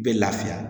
I bɛ lafiya